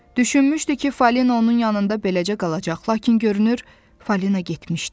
Düşünmüşdü ki, Falina onun yanında beləcə qalacaq, lakin görünür Falina getmişdi.